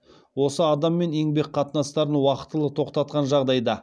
осы адаммен еңбек қатынастарын уақтылы тоқтатқан жағдайда